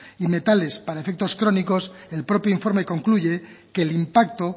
y metales para efectos crónicos el propio informe concluye que el impacto